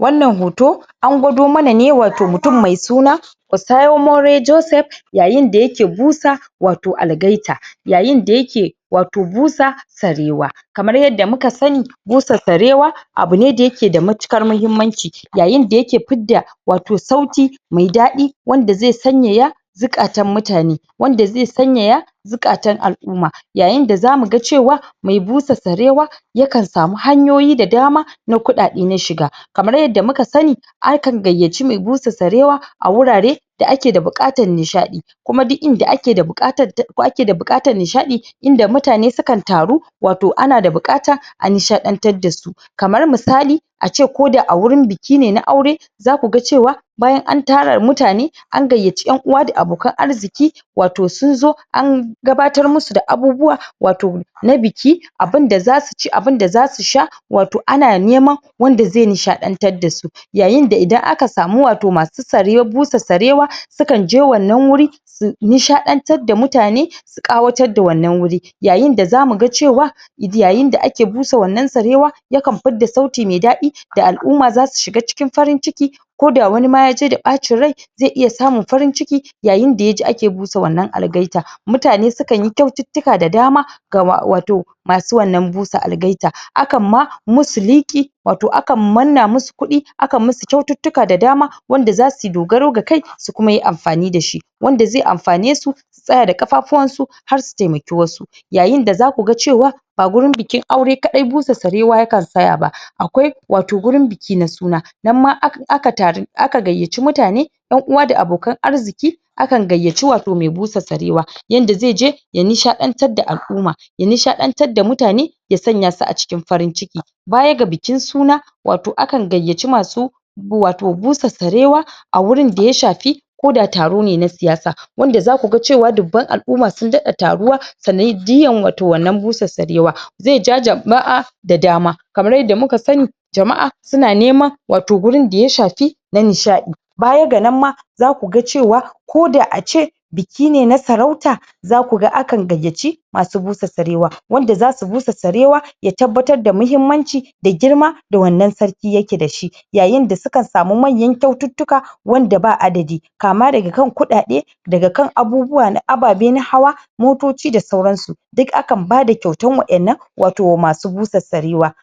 Wannan hoto an gwado muna ne wato mutum mai su na Usaya more Joseph yayin da ya ke busa wato algaita. Yayin da ya ke wato busa sarewa. Kamar yadda muka sani, busa sarewa abu ne da ya ke da matuƙar mahimmanci yayin da ya fidda wato sauti mai daɗi wanda zai sanyaya zukatan mutane, wanda zai sanyaya zukatan al'umma. Yayin da za mu ga cewa mai busa sarewa yakan samu hanyoyi da dama na kuɗaɗe na shiga. Kamar yadda muka sani akan gayyaci mai busa sarewa a wurare da ake da buƙatar nishaɗi kuma duk inda ake buƙatar ko ake da buƙatar nishaɗi inda mutane sukan taru wato ana da buƙata a nishaɗantar da su. Kamar misali ace ko da a wurin biki ne na aure za ku ga cewa bayan an tara mutane an gayyaci ƴan-uwa da abokan arziƙi wa to sun zo an gabatar musu da abubuwa wato na biki, abinda za su ci, abinda za su sha wato an neman wanda zai nishaɗantar su. Yayin da idan aka samu wato masu sare busa sarewa sukan je wannan wuri su nishaɗantar da mutane su ƙawatadda wannan wurin. Yayin da za mu ga cewa yayin da ake busa wannan sarewa yakan fidda sauti mai daɗi da al'umma za su shiga cikin farin ciki koda wani ma yaje da ɓacin rai zai iya samun farin ciki yayin da yaji ake busa wannan algaita. Mutane sukan yi kyaututtuka da dama ga wa wato masu wannan busa algaita. Akan ma musu liƙi, wato akan manna musu kuɗi akan msus kyaututtuka da dama wanda su yi dogaro da kai su kuma yi amfani da shi. Wanda zai amfane su su tsaya da ƙafafuwan su har su taimaki wasu. Yayin da za ku ga cewa ba wurin bikin aure kaɗai busa sarewa yakan tsaya ba. Akwai wato gurin biki na suna, nan ma akan taru aka gayyaci mutane ƴan-uwa da abokan arziƙi, akan gayyaci wato mai busa sarewa, yanda zai je ya nisaɗantar da al'umma, ya nishaɗantar da mutane, ya sanya su a cikin farin ciki. Baya ga bikin suna wato akan gayyaci masu wato busa sarewa wurin da shafi koda taro ne na siyasa. Wanda za ku ga cewa dubban al'umma sun daɗa taruwa sanadiyan wato wannan busa sarewa. Zai ja jama'a da dama. Kamar yadda muka sani jama'a su na neman wato wurin da shafi na nishaɗi. Baya ga nan ma za ku ga cewa koda ace biki ne na sarauta za ku ga akan gayyaci masu busa sarewa. Wanda za su busa sarewa ya tabbatar da muhimmanci da girma da wannan sarki ya ke da shi. Yayin da sukan samu manya kyaututtuka wanda ba adadi. Kama daga kan kuɗaɗe, daga kan abubuwa na ababe na hawa, motoci da sauran su. Duk akan bada kyautan waƴannan wato masu busa sarewa.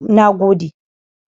Nagode!